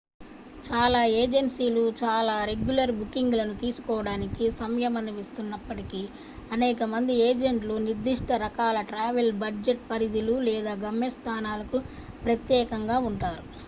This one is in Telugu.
చాలా ఏజెన్సీలు చాలా రెగ్యులర్ బుకింగ్ లను తీసుకోవడానికి సంయమనిస్తున్నప్పటికీ అనేక మంది ఏజెంట్లు నిర్ధిష్ట రకాల ట్రావెల్ బడ్జెట్ పరిధులు లేదా గమ్యస్థానాలకు ప్రత్యేకంగా ఉంటారు